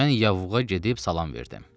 Mən yavuğa gedib salam verdim.